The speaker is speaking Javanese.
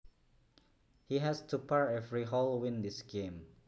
He has to par every hole win this game